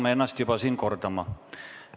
Me hakkame siin ennast juba kordama.